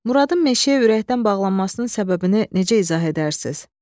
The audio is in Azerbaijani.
Muradın meşəyə ürəkdən bağlanmasının səbəbini necə izah edərsiniz?